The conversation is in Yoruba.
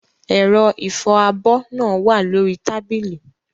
Ẹ̀rọ ìfọ abọ́ náà wà lórí tábìlì.